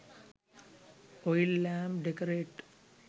oil lamp decorate